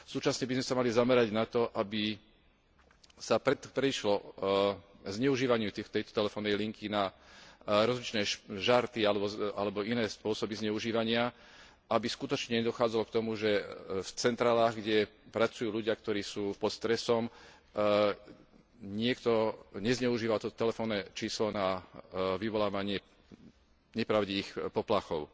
Súčasne by sme sa mali zamerať na to, aby sa predišlo zneužívaniu tejto telefónnej linky na rozličné žarty alebo iné spôsoby zneužívania, aby skutočne nedochádzalo k tomu, že v centrálach, kde pracujú ľudia, ktorí sú pod stresom, niekto nezneužíval toto telefónne číslo na vyvolávanie nepravdivých poplachov.